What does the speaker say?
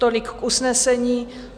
Tolik k usnesení.